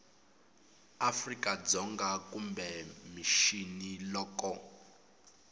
afrika dzonga kumbe mixini loko